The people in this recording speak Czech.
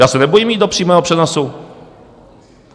Já se nebojím jít do přímého přenosu.